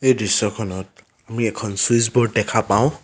দৃশ্যখনত আমি এখন চুইছব'ৰ্ড দেখা পাওঁ।